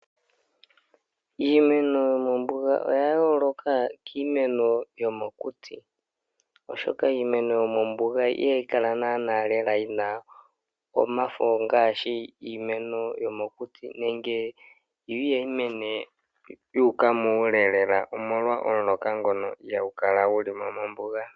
Iimeno yomombuga oya yooloka kiimeno yomokuti, oshoka iimeno yomombuga ihayi kala naana Lela yina omafo yafa iimaliwa yomokuti nenge ihayi mene lela yuuka muule omolwa omuloka ngono ihaagu kala guli mo mombuga.